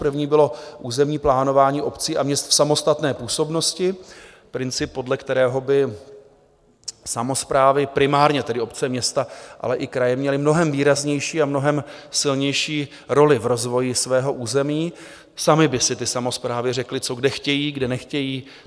První bylo územní plánování obcí a měst v samostatné působnosti, princip, podle kterého by samosprávy, primárně tedy obce, města, ale i kraje, měly mnohem výraznější a mnohem silnější roli v rozvoji svého území, samy by si ty samosprávy řekly, co kde chtějí, kde nechtějí.